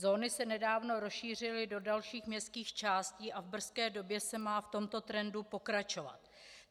Zóny se nedávno rozšířily do dalších městských částí a v brzké době se má v tomto trendu pokračovat.